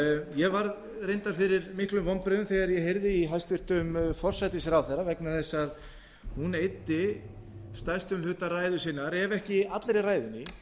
ég varð reyndar fyrir miklum vonbrigðum þegar ég heyrði í hæstvirtur forsætisráðherra vegna þess að hún eyddi stærstum hluta ræðu sinnar ef ekki allri ræðunni